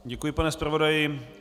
Děkuji, pane zpravodaji.